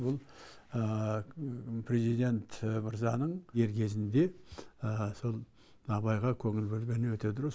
бұл президент мырзаның дер кезінде сол абайға көңіл бөлгені өте дұрыс